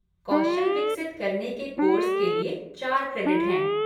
कौशल विकसित करने के कोर्स के लिए चार क्रेडिट हैं।